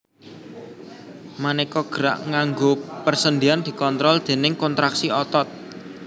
Manéka gerak nganggo persendian dikontrol déning kontraksi otot